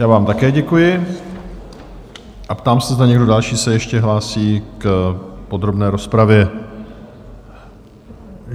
Já vám také děkuji a ptám se, zda někdo další se ještě hlásí k podrobné rozpravě?